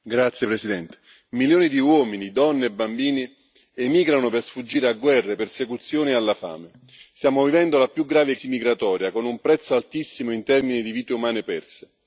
Signor Presidente, onorevoli colleghi, milioni di uomini, donne e bambini emigrano per sfuggire a guerre, a persecuzioni e alla fame. Stiamo vivendo la più grave crisi migratoria, con un prezzo altissimo in termini di vite umane perse.